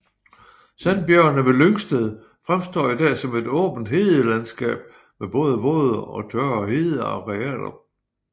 Sandbjergene ved Lyngsted fremstår i dag som et åben hedelandskab med både våde og tørre hedearealer